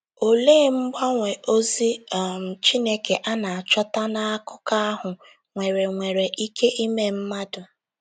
Olee mgbanwe ozi um Chineke a na-achọta n’akụkọ ahụ nwere nwere ike ime mmadụ?